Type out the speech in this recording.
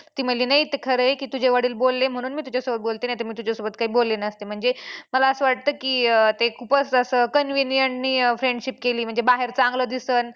ती म्हंटली नाही ते खरं आहे की तुझे वडील बोलले म्हणून तुझ्यासोबत बोलते नाहीतर मी तुझ्यासोबत काही बोलले नसते म्हणजे मला असं वाटतं की अं ते खूपच असं convenient ने friendship केली म्हणजे बाहेर चांगलं दिसल.